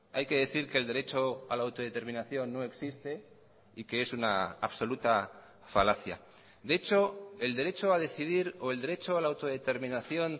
hay que decir que el derecho a la autodeterminación no existe y que es una absoluta falacia de hecho el derecho a decidir o el derecho a la autodeterminación